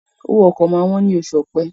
owó oko ma wón ní Oṣù Ọ̀pẹ́